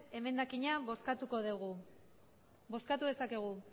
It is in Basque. emendakina bozkatuko dugu bozkatu dezakegu